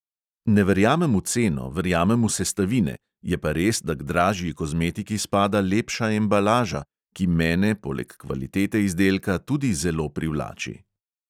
Ne verjamem v ceno, verjamem v sestavine, je pa res, da k dražji kozmetiki spada lepša embalaža, ki mene poleg kvalitete izdelka tudi zelo privlači.